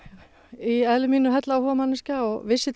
í eðli mínu hellaáhugakona og vissi